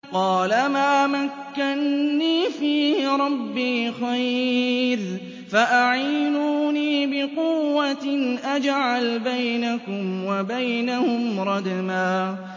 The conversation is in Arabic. قَالَ مَا مَكَّنِّي فِيهِ رَبِّي خَيْرٌ فَأَعِينُونِي بِقُوَّةٍ أَجْعَلْ بَيْنَكُمْ وَبَيْنَهُمْ رَدْمًا